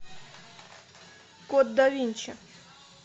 код да винчи